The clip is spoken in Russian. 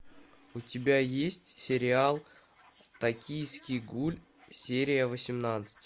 у тебя есть сериал токийский гуль серия восемнадцать